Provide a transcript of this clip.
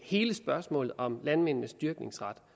hele spørgsmålet om landmændenes dyrkningsret